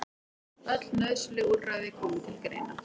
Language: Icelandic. Öll nauðsynleg úrræði komi til greina